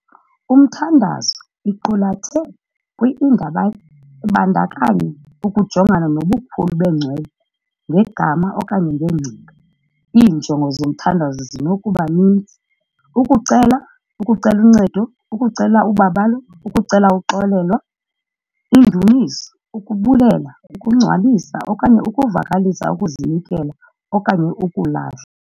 Umthandazo iqulathe kwi Ibandakanya ukujongana nobukhulu bengcwele ngegama okanye ngengcinga, Iinjongo zomthandazo zinokuba ninzi- ukucela, ukucela uncedo, ukucela ubabalo, ukucela ukuxolelwa, iindumiso, ukubulela, ukungcwalisa, okanye ukuvakalisa ukuzinikela okanye ukulahla .